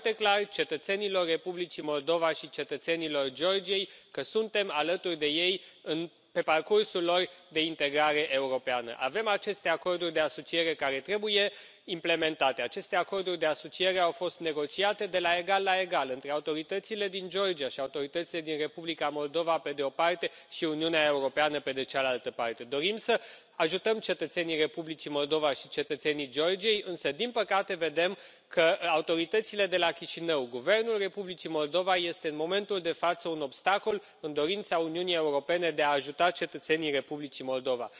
Domnule președinte, prin această dezbatere, transmitem un mesaj foarte clar cetățenilor Republicii Moldova și cetățenilor Georgiei, că suntem alături de ei pe parcursul lor de integrare europeană. Avem aceste acorduri de asociere care trebuie implementate. Aceste acorduri de asociere au fost negociate de la egal la egal între autoritățile din Georgia și autoritățile din Republica Moldova, pe de o parte, și Uniunea Europeană, pe de cealaltă parte. Dorim să ajutăm cetățenii Republicii Moldova și cetățenii Georgiei însă, din păcate, vedem că autoritățile de la Chișinău, Guvernul Republicii Moldova, este în momentul de față un obstacol în dorința Uniunii Europene de a ajuta cetățenii Republicii Moldova.